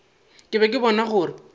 ke be ke bona gore